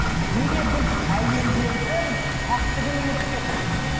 неге біз әйелдердің пәктігін ұмытып кеттік